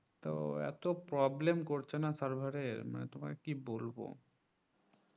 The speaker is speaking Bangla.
তো এত problem করছে না server এর মানে তোমাকে কি বলবো